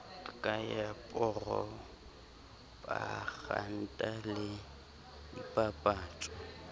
ka ya poropaganda le dipapatso